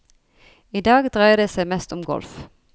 I dag dreier det seg mest om golf.